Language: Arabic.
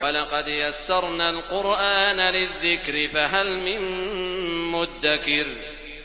وَلَقَدْ يَسَّرْنَا الْقُرْآنَ لِلذِّكْرِ فَهَلْ مِن مُّدَّكِرٍ